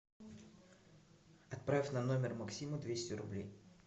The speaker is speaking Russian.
отправь на номер максима двести рублей